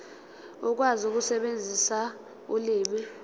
ukwazi ukusebenzisa ulimi